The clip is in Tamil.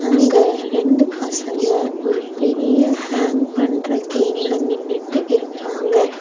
அங்க ரெண்டு பசங்க ஒரு பெரிய ஹேங் பண்ற கேம்ல நின்னுட்டு இருக்காங்க.